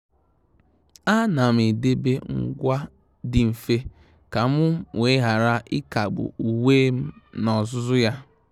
À nà m edèbè ngwa dị mfe kà m wee ghara ị́kágbù uwe m n’ózùzù yá.